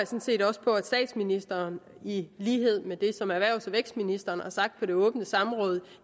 set også på at statsministeren i lighed med det som erhvervs og vækstministeren har sagt på det åbne samråd